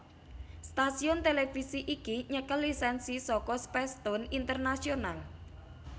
Stasiun televisi iki nyekel lisensi saka Spacetoon International